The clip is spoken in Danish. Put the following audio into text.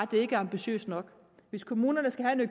det ikke er ambitiøst nok hvis kommunerne skal have